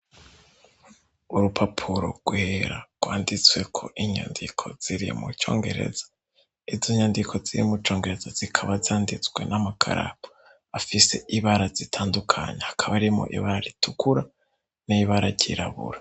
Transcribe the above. Urupapuro rwera rwanditsweko inyandiko ziri mucongereza izo nyandiko zirimucongereza zikaba zanditswe n'amukaraka afise ibara zitandukanya hakaba arimo ibara ritukura n'ibara ryirabura.